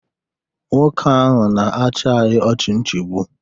Nwoke ahụ na-achị anyị ọchịchị nchigbu.